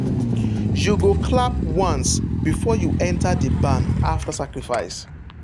you go clap once before you enter the barn after sacrifice.